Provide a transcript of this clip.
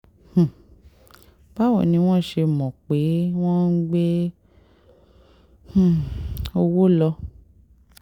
um báwo ni wọ́n ṣe mọ̀ pé wọ́n ń gbé um owó lọ